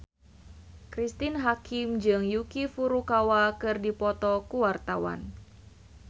Cristine Hakim jeung Yuki Furukawa keur dipoto ku wartawan